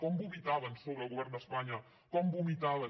com vomitaven sobre el govern d’espanya com vomitaven